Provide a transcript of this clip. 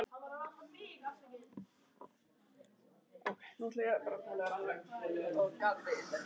Þar má þó sjá að bæði Urthvalafjörður og Kolgrafafjörður hafa verið nefndir á nafn.